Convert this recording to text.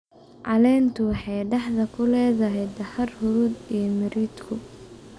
Caleentu waxay dhexda ku leedahay dahaar huruud ah iyo miridhku.